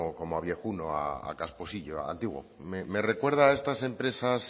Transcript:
como a viejuno a casposilllo a antiguo me recuerda a estas empresas